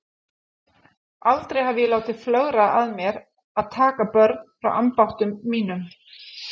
Aldrei hef ég látið flögra að mér að taka börn frá ambáttum mínum.